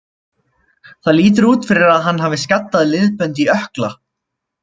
Það lítur út fyrir að hann hafi skaddað liðbönd í ökkla.